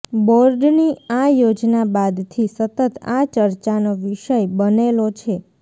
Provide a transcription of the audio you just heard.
બોર્ડની આ યોજના બાદથી સતત આ ચર્ચાનો વિષય બનેલો છે